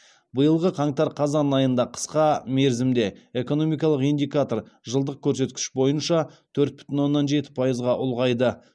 биылғы қаңтар қазан айында қысқа мерзімде экономикалық индикатор жылдық көрсеткіш бойынша төрт бүтін оннан жеті пайызға ұлғайды